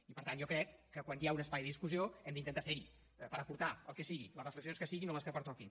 i per tant jo crec que quan hi ha un espai de discussió hem d’intentar ser hi per aportar hi el que sigui les reflexions que siguin o les que pertoquin